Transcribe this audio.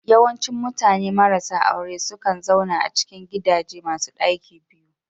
Yawancin mutane marasa aure sukan zauna a cikin gidaje masu ɗaki biyu